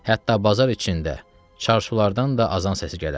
Hətta bazar içində, çarşulardan da azan səsi gələrdi.